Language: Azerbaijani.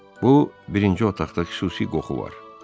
Bu birinci otaqda xüsusi qoxu var.